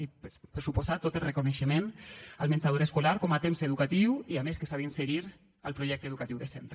i per descomptat tot el reconeixement al menjador escolar com a temps educatiu i a més que s’ha d’inserir al projecte educatiu de centre